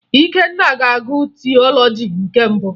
Ikenna ga-agụ tiọlọji nke mbụ